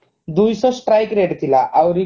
ଦୁଇ ଶହ strike rate ଥିଲା ଆଉରି